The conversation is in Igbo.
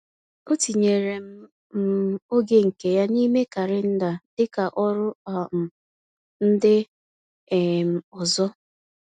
O tinyere m um oge nke ya n’ime kalenda dịka ọrụ um ndị um ọzọ.